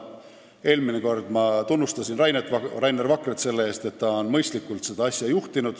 Eelmine kord ma tunnustasin Rainer Vakrat selle eest, et ta on seda asja mõistlikult juhtinud.